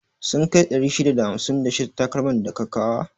Sun kai 651 takalman da ka kawa?